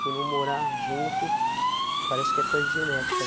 Por não morar junto, parece que é coisa genética.